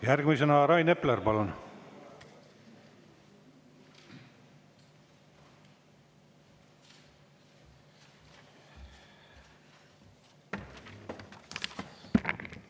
Järgmisena Rain Epler, palun!